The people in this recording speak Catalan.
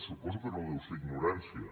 suposo que no deu ser ignorància